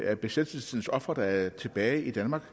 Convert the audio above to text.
af besættelsestidens ofre der er tilbage i danmark